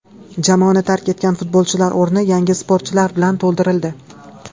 Jamoani tark etgan futbolchilar o‘rni yangi sportchilar bilan to‘ldirildi.